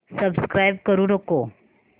subscribe करू नको